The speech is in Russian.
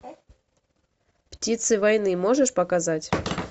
птицы войны можешь показать